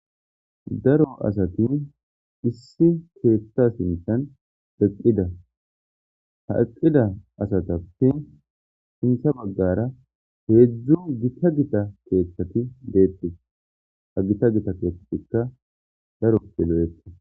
daro asatin issi keethta sintan eqqida ha eqida asatappi hintha baggara heedzdzu gita gita keeththati deetti ha gita gita keeththatikka daro yelo7etti